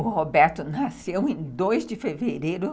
O Roberto nasceu em dois de fevereiro